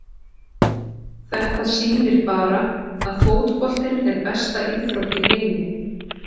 Þetta sýnir bara að fótboltinn er besta íþrótt í heimi.